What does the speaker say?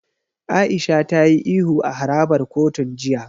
Aisha ta yi ihu a harabar kotun jiya.